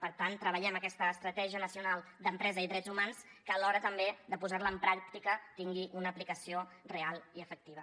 per tant treballem aquesta estratègia nacional d’empresa i drets humans que a l’hora també de posar la en pràctica tingui una aplicació real i efectiva